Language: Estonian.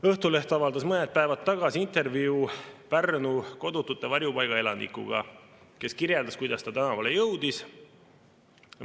Õhtuleht avaldas mõned päevad tagasi intervjuu Pärnu kodutute varjupaiga elanikuga, kes kirjeldas, kuidas ta tänavale jõudis.